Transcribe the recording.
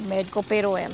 O médico operou ela.